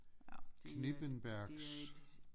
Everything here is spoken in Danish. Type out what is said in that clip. Ja det er det er et